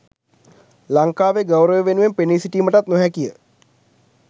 ලංකාවේ ගෞරවය වෙනුවෙන් පෙනී සිටීමටත් නොහැකිය.